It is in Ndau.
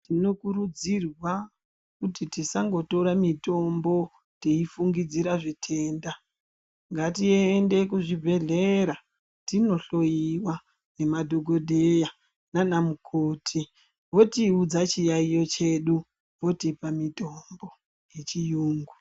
Tinokurudzirwa kuti tisangotora mitombo teifungidzira zvitenda, ngatiende kuzvibhedhlera tinohloiwa nemadhokodheya nana mukoti votiudza chiyaiyo chedu votipa mitombo yechiyungu.